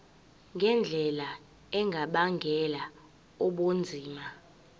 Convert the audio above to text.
ngendlela engabangela ubunzima